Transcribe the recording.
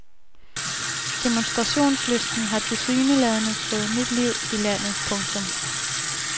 Demonstrationslysten har tilsyneladende fået nyt liv i landet. punktum